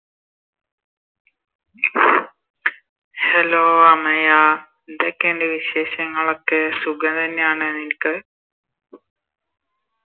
Hello Amaya എന്തൊക്കെയുണ്ട് വിശേഷങ്ങളൊക്കെ സുഖ തന്നെയാണോ നിനക്ക്